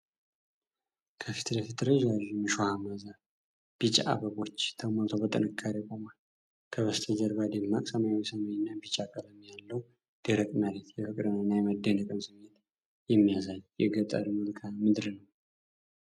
ከፊት ለፊት ረዣዥም እሾሃማ ዛፍ፣ ቢጫ አበቦች ተሞልቶ በጥንካሬ ቆሟል። ከበስተጀርባ ደማቅ ሰማያዊ ሰማይና ቢጫ ቀለም ያለው ደረቅ መሬት፣ የፍቅርንና የመደነቅን ስሜት የሚያሳይ የገጠር መልክዓ ምድር ነው።